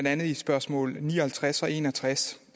er i spørgsmål ni og halvtreds og en og tres